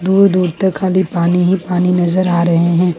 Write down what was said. दूर-दूर तक खाली पानी ही पानी नजर आ रहे हैं।